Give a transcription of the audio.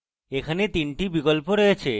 এখানে 3 টি বিকল্প রয়েছে